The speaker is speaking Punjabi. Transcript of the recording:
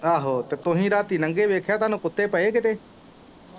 ਆਹੋ ਤੁਹੀਂ ਰਾਤੀਂ ਲੰਘੇ ਵੇਖਿਆ ਤੁਹਾਨੂੰ ਕੁੱਤੇ ਪਏ ਕਿਤੇ।